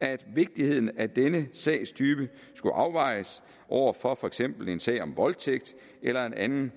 at vigtigheden af denne sagstype skulle afvejes over for for eksempel en sag om voldtægt eller en anden